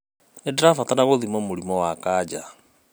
Nindirabatara gũthimwo mũrimũ wa kanja.